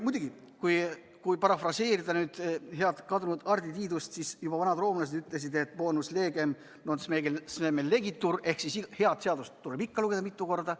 Muidugi, kui parafraseerida nüüd head kadunud Hardi Tiidust, siis juba vanad roomlased ütlesid, et bonus liber non semel legitur ehk head seadust tuleb ikka lugeda mitu korda.